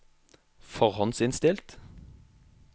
forhåndsinnstilt